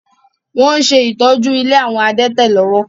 Wọn ṣe ìtọ́jú ilé àwọn adẹ́tẹ̀ lọ́wọ́.